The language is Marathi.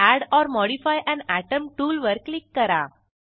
add or modify an atom tool वर क्लिक करा